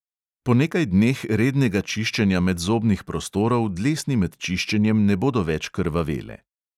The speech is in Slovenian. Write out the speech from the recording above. Po nekaj dneh rednega čiščenja medzobnih prostorov dlesni med čiščenjem ne bodo več krvavele.